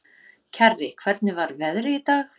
Kjarri, hvernig er veðrið í dag?